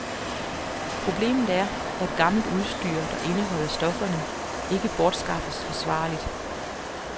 Problemet er, at gammelt udstyr, der indeholder stofferne, ikke bortskaffes forsvarligt.